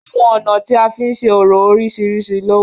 Awọn ọna ti a fin ṣe orȯ oriṣiriṣi lo wa.